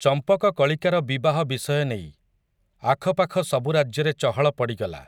ଚମ୍ପକକଳିକାର ବିବାହ ବିଷୟ ନେଇ, ଆଖପାଖ ସବୁ ରାଜ୍ୟରେ ଚହଳ ପଡ଼ିଗଲା ।